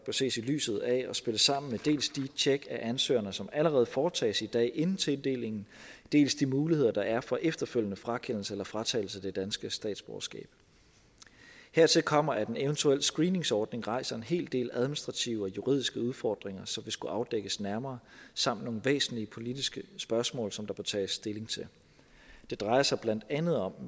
ses i lyset af og spille sammen med dels de tjek af ansøgerne som allerede foretages i dag inden tildelingen dels de muligheder der er for efterfølgende frakendelse eller fratagelse af det danske statsborgerskab hertil kommer at en eventuel screeningsordning rejser en hel del administrative og juridiske udfordringer som ville skulle afdækkes nærmere samt nogle væsentlige politiske spørgsmål som tage stilling til det drejer sig blandt andet om